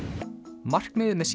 markmiðið með